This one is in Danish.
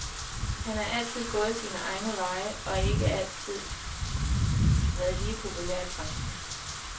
Han har altid gået sine egne veje og ikke altid været lige populær i branchen.